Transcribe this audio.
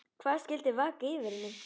Hvað skyldi vaka fyrir henni?